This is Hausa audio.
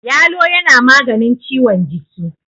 yalo yana maganin ciwon jiki